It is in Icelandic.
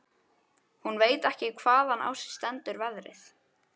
Hún veit ekki hvaðan á sig stendur veðrið.